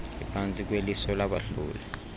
iphantsi kweliso labahloli